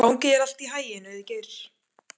Gangi þér allt í haginn, Auðgeir.